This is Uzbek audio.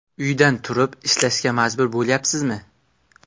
Uydan turib ishlashga majbur bo‘lyapsizmi?